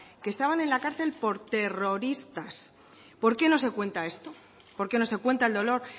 que estaban en la cárcel por terroristas por qué no se cuenta esto por qué no se cuenta el dolor